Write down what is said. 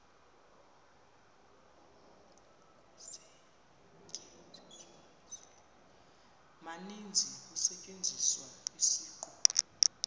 maninzi kusetyenziswa isiqu